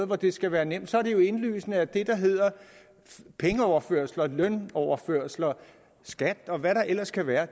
hvor det skal være nemt så er det jo indlysende at pengeoverførsler lønoverførsler skat og hvad der ellers kan være